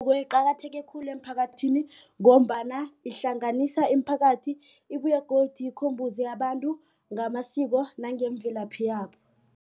Beyiqakatheke khulu emphakathini ngombana ihlanganisa imiphakathi ibuye godu ikhombise abantu ngamasiko nangemvelaphi yabo.